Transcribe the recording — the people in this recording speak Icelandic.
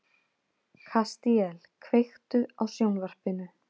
Kastíel, kveiktu á sjónvarpinu.